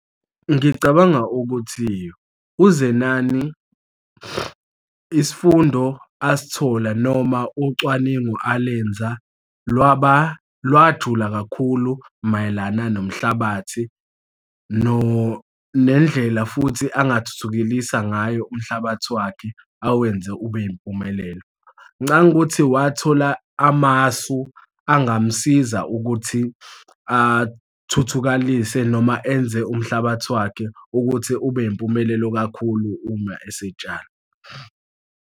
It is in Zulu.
Ngicabanga ukuthi uZenani, isifundo asithola noma ucwaningo alenza lwaba lwajula kakhulu mayelana nomhlabathi nendlela futhi angathuthukelisa ngayo umhlabathi wakhe awenze ube yimpumelelo. Ngicabanga ukuthi wathola amasu angamsiza ukuthi athuthukalise noma enze umhlabathi wakhe ukuthi ube yimpumelelo kakhulu uma esetshala.